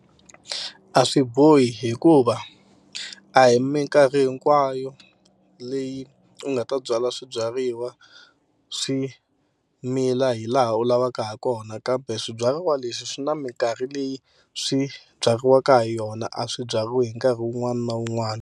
A swi bohi hikuva a hi mikarhi hinkwayo leyi u nga ta byala swibyariwa swi mila hi laha u lavaka ha kona kambe swibyariwa leswi swi na mikarhi leyi swi byariwaka hi yona a swi byariwi hi nkarhi wun'wani na wun'wani.